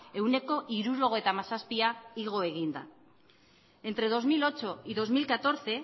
ehuneko hirurogeita hamazazpia igo egin da entre dos mil ocho y dos mil catorce